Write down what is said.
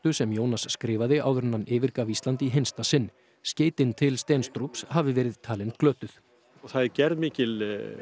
sem Jónas skrifaði áður en hann yfirgaf Ísland í hinsta sinn skeytin til hafi verið talin glötuð það var gerð mikil